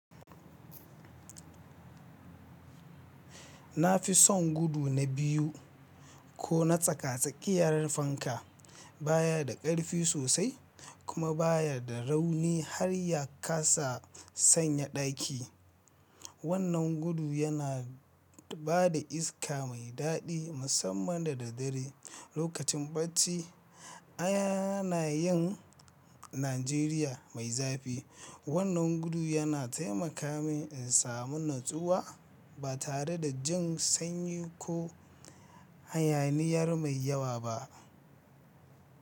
Na fi son gudu na biyu ko na tsaka-tsakiyar fanka. Ba ya da ƙarfi sosai kuma ba ya da rauni har ya kasa sanya ɗaki. Wannan gudu yana ba da iska mai daɗi musamman da daddare. Lokacin barci, ana yin Najeriya mai zafi. Wannan gudu yana taimaka min in samu natsuwa ba tare da jin sanyi ko hayaniyar mai yawa ba.